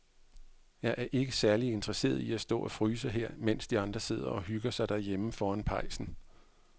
Jeg er ikke særlig interesseret i at stå og fryse her, mens de andre sidder og hygger sig derhjemme foran pejsen.